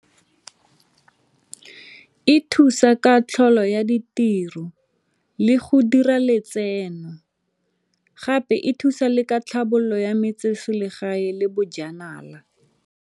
E thusa ka tlhaolo ya ditiro le go dira letseno gape e thusa le ka tlhabololo ya metseselegae le bojanala.